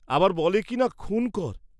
আবার বলে কিনা খুন কর!